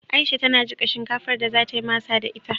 Aisha tana jiƙa shinkafar da za ta yi masa da ita.